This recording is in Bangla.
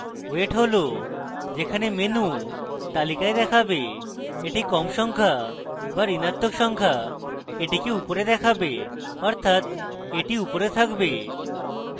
weight হল যেখানে menu তালিকায় দেখাবে একটি কম সংখ্যা বা ঋণাত্মক সংখ্যা এটিকে উপরে দেখাবে অর্থাৎ এটি উপরে থাকবে